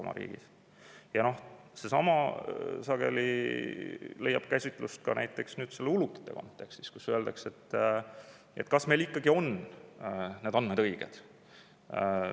Ja seesama leiab sageli käsitlust ka näiteks ulukite kontekstis,, kas meil ikka on need andmed õiged.